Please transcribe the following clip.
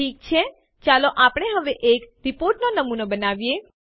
ઠીક છે ચાલો આપણે હવે એક રીપોર્ટનો નમૂનો બનાવીએ